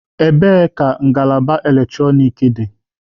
Ebee ka ngalaba eletrọnịkị dị?